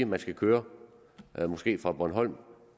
man skal køre måske fra bornholm